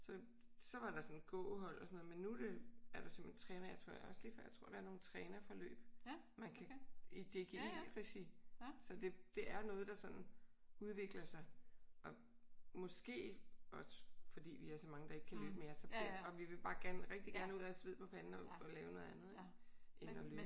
Så så var der sådan gåhold og sådan noget men nu er det er der simpelthen træner jeg tror det er også lige før jeg tror at der også er sådan nogle nogen trænerforløb man kan i DGI-regi så det er noget der sådan udvikler sig. Og måske også fordi vi er så mange der ikke kan løbe mere og vi vil bare gerne rigtig gerne ud og have sved på panden og lave noget andet ik? End at løbe